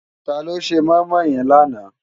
Táló sé moimoi yèn làná?